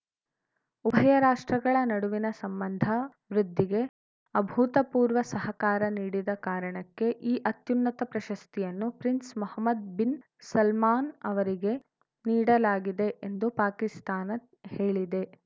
ಉಭಯ ರಾಷ್ಟ್ರಗಳ ನಡುವಿನ ಸಂಬಂಧ ವೃದ್ಧಿಗೆ ಅಭೂತಪೂರ್ವ ಸಹಕಾರ ನೀಡಿದ ಕಾರಣಕ್ಕೆ ಈ ಅತ್ಯುನ್ನತ ಪ್ರಶಸ್ತಿಯನ್ನು ಪ್ರಿನ್ಸ್‌ ಮೊಹಮ್ಮದ್‌ ಬಿನ್‌ ಸಲ್ಮಾನ್‌ ಅವರಿಗೆ ನೀಡಲಾಗಿದೆ ಎಂದು ಪಾಕಿಸ್ತಾನ ಹೇಳಿದೆ